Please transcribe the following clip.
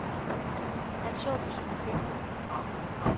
Han så på sine fingre.